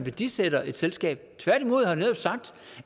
værdisætter et selskab tværtimod har jeg netop sagt